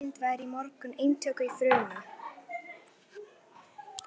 Hver eind væri í mörgum eintökum í frumu.